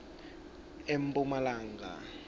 emphumalanga